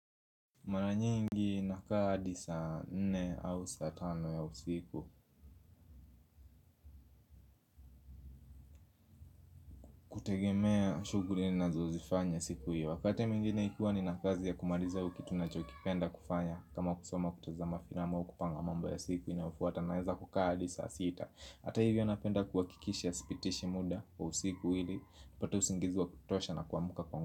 Mara nyingi nakaa hadi saa nne au saa tano ya usiku. Kutegemea shughuli ninazozifanya siku hiyo. Wakati mwingine ikiwa nina kazi ya kumaliza au kitu ninachokipenda kufanya, kama kusoma, kutazama filamu au kupanga mambo ya siku inayofuata, naeza kukaa hadi saa sita. Hata hivyo napenda kuhakikisha sipitishi muda wa usiku ili nipate usingizi wa kutosha na kuamka kwa muda.